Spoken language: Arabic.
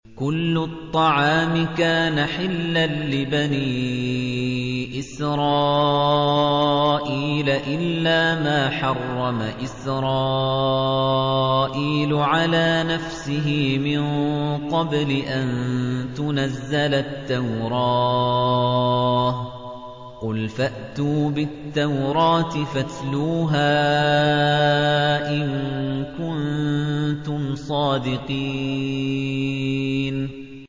۞ كُلُّ الطَّعَامِ كَانَ حِلًّا لِّبَنِي إِسْرَائِيلَ إِلَّا مَا حَرَّمَ إِسْرَائِيلُ عَلَىٰ نَفْسِهِ مِن قَبْلِ أَن تُنَزَّلَ التَّوْرَاةُ ۗ قُلْ فَأْتُوا بِالتَّوْرَاةِ فَاتْلُوهَا إِن كُنتُمْ صَادِقِينَ